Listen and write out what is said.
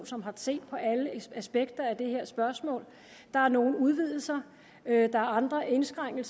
som har set på alle aspekter af det her spørgsmål der er nogle udvidelser der er andre indskrænkninger